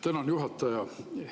Tänan, juhataja!